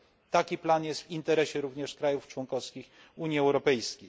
Taki plan jest w interesie również krajów członkowskich Unii Europejskiej.